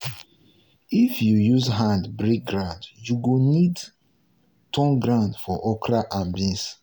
if you use hand break ground you go need turn ground for okra and beans.